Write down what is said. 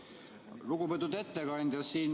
Lugupeetud ettekandja!